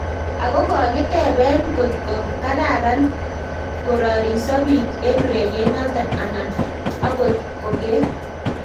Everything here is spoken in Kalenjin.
Ako kokiteben kokto kararan korariso biik en ureriet noton anan agot koger